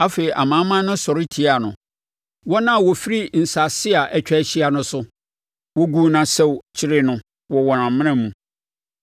Afei amanaman no sɔre tiaa no, wɔn a wɔfiri nsase a atwa ahyia no so. Wɔguu no asau kyeree no wɔ wɔn amena mu.